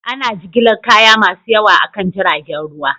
Ana jigilar kaya masu yawa akan jiragen ruwa